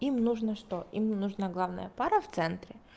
им нужно что им нужно главная пара в центре